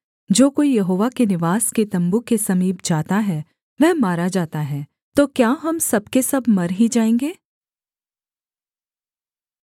जो कोई यहोवा के निवास के तम्बू के समीप जाता है वह मारा जाता है तो क्या हम सब के सब मर ही जाएँगे